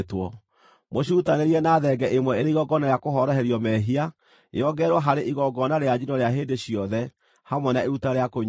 Mũcirutanĩrie na thenge ĩmwe ĩrĩ igongona rĩa kũhoroherio mehia, yongererwo harĩ igongona rĩa njino rĩa hĩndĩ ciothe, hamwe na iruta rĩa kũnyuuo.